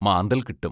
മാന്തൽ കിട്ടും.